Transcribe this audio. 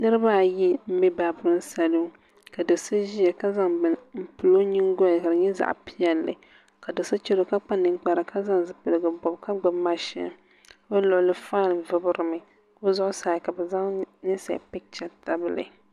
Niraba ayi n bɛ baabirin salun ka do so ʒiya ka zaŋ bini n pili o nyingoli ka di nyɛ zaɣ piɛlli ka do so chɛro ka kpa ninkpara ka zaŋ zipiligu pili ka gbubi mashin bi luɣuli faan vubirimi bi zuɣusaa ka bi zaŋ ninsal picha tabili